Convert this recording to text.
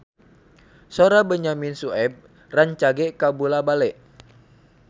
Sora Benyamin Sueb rancage kabula-bale